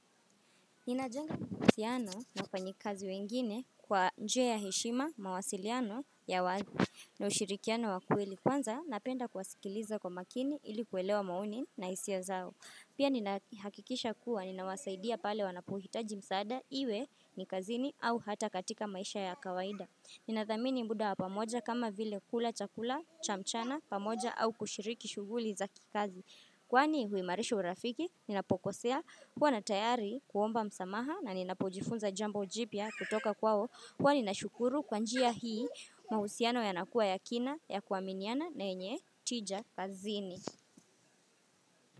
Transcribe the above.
Ninajanga kusiyano na kanyikazi wengine kwa njia ya heshima mawasiliano ya wazi na ushirikiano wakweli kwanza napenda kuwasikiliza kwa makini ilikuelewa maoni na isio zao. Pia ninahakikisha kuwa ninawasaidia pale wanapohitaji msaada iwe nikazini au hata katika maisha ya kawaida. Ninathamini mbuda wa pamoja kama vile kula chakula cha mchana pamoja au kushiriki shuguli za kikazi. Kwani huimarisha urafiki, ninapokosea kuwa natayari kuomba msamaha na ninapojifunza jambo jipya kutoka kwao. Kwani nashukuru kwa njia hii mahusiano yanakuwa yakina ya kuaminiana na enye tija kazini.